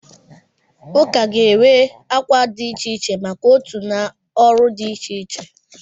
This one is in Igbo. Ụka ga-enwe akwa dị iche iche maka otu na ọrụ dị iche iche.